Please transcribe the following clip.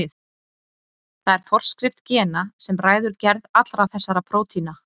Það er forskrift gena sem ræður gerð allra þessara prótína.